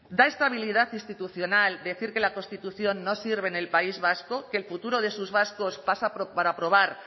da estabilidad institucional decir que la constitución no sirve en el país vasco que el futuro de sus vascos pasa por aprobar